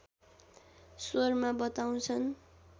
स्वरमा बताउँछन्